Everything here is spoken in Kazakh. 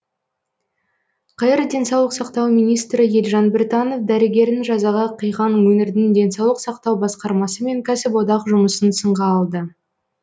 қр денсаулық сақтау министрі елжан біртанов дәрігерін жазаға қиған өңірдің денсаулық сақтау басқармасы мен кәсіподақ жұмысын сынға алды